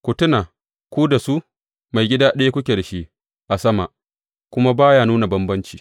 Ku tuna, ku da su, Maigida ɗaya kuke da shi a sama, kuma ba ya nuna bambanci.